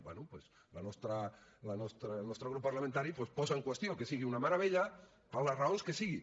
bé doncs el nostre grup parlamentari posa en qüestió que sigui una meravella per les raons que sigui